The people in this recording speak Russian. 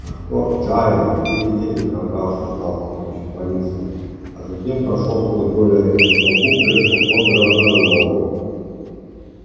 анкор джаэль еле-еле пробрался в зал с помощью полиции а затем прошёл сквозь более редкую толпу к креслу хобера мэллоу